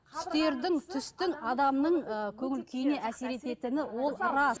түстердің түстің адамның ы көңіл күйіне әсер ететіні ол рас